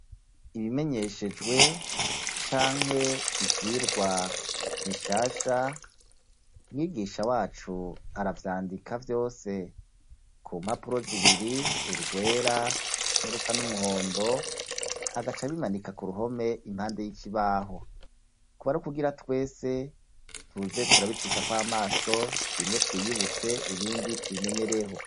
Ibimenyeshejwe canke ivyigwa bishasha, mwigisha wacu aravyandika vyose ku mpapuro zibiri urwera n'urusa n'umuhondo, agaca abimanika ku ruhome impande y'ikibaho, kuba ari ukugira twese tuze turabicishako amaso bimwe twiyibutse ibindi tubimenyereho.